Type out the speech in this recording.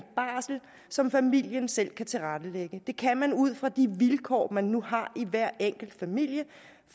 barsel som familien selv kan tilrettelægge det kan man ud fra de vilkår man nu har i hver enkelt familie